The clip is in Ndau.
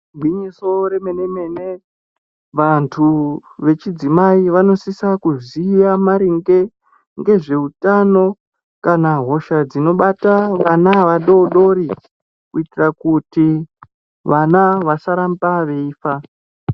Igwinyiso remene-mene, vantu vechidzimai vanosise kuziya maringe ngezveutano kana hosha dzinobata vana vadodori kuitira kuti vana vasaramba veifa.